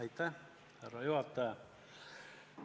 Aitäh, härra juhataja!